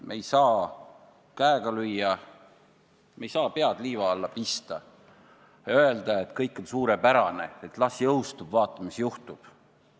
Me ei saa käega lüüa, me ei saa pead liiva alla pista ja öelda, et kõik on suurepärane, et las jõustub, vaatame, mis juhtub.